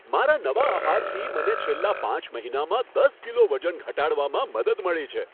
મારા નવા આહારથી મને છેલ્લા પાંચ મહિનામાં દસ કિલો વજન ઘટાડવામાં મદદ મળી છે.